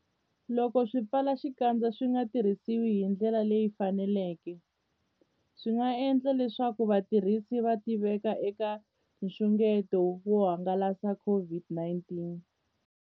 Loko swipfalaxikandza swi nga tirhisiwi hi ndlela leyi faneleke, swi nga endla leswaku vatirhisi va tiveka eka nxungeto wo hangalasa COVID-19.